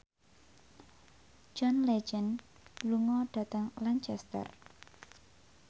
John Legend lunga dhateng Lancaster